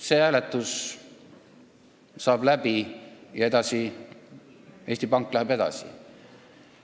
See hääletus saab läbi ja Eesti Pank läheb tööga edasi.